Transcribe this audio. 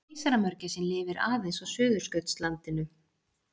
keisaramörgæsin lifir aðeins á suðurskautslandinu